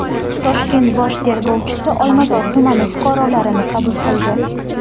Toshkent bosh tergovchisi Olmazor tumani fuqarolarini qabul qildi.